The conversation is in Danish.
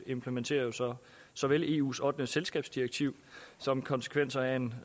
implementerer jo så såvel eus ottende selskabsdirektiv som konsekvenserne af en